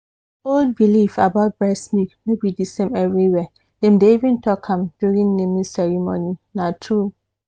old belief about breast milk no be the same everywhere. dem dey even talk am during naming ceremony na true.